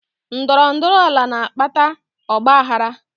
Ndọrọ ndọrọ ala na-akpata ọgbaaghara